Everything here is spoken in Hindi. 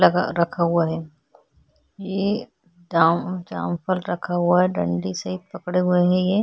लगा रखा हुआ है ये जाम-- जामफ़ल रखा हुआ है डंडी से पकड़े हुए है ये--